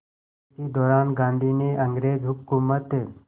इसी दौरान गांधी ने अंग्रेज़ हुकूमत